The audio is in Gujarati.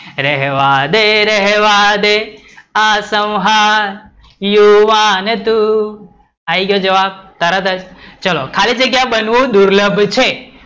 રહેવા દે, રહેવા દે, આ સંહાર યુવાન તું, આયી ગયો જવાબ, તરત જ ચલો તો ખાલી જગ્યા બનવું દુર્લભ છે